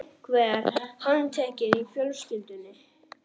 Einhver handtekinn í fjölskyldunni?